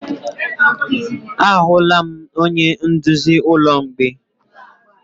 Ahụla m onye nduzi ụlọ mgbei.